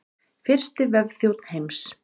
Fyrsti vefþjónn heims.